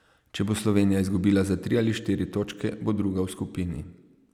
Če bo Slovenija izgubila za tri ali štiri točke, bo druga v skupini.